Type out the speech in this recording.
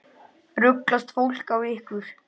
Ruglast fólk á ykkur?